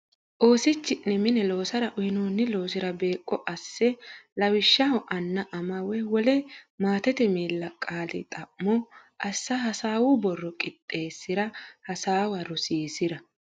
Oosichi ne mine loosara uynoonni loosira beeqqo asse lawishshaho anna ama woy wole maatete miilla qaali xa mo assa hasaawu borro qixxeessi ra hasaawa rosiisi ra.